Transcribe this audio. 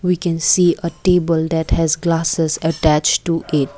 we can see a table that has glasses attached to it.